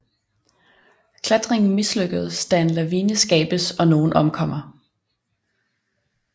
Klattringen mislykkeds da en lavine skabes og nogen omkommer